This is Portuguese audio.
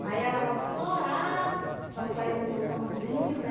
aí ela vai florar, para sair do botãozinho, né?